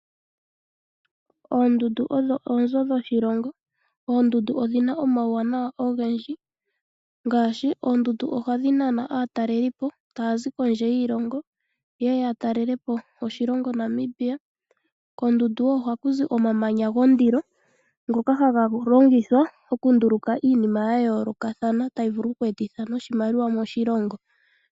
Oondundu odho oonzo dhoshilongo. Oondundu odhi na omawuwanawa ogendji; ngaashi: oondundu ohadhi nana aatalelipo taya zi kondje yiilongo ye ye ya talelepo oshilongo Namibia. Koondundu wo ohaku zi omamanya gondilo ngoka haga longithwa okunduluka iinima ya yoolokathana tayi vulu oku etitha iimaliwa moshilongo.